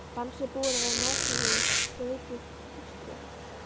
band sem búið var að margvefja um ryðbrúnt púströr.